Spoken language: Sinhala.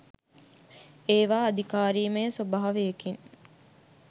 ඒව අධිකාරීමය ස්වභාවයකින්